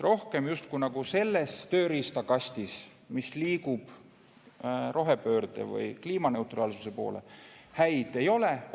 Rohkem justkui selles tööriistakastis, millega me liigume rohepöörde või kliimaneutraalsuse poole, häid riistu ei ole.